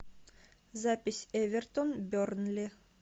запись эвертон бернли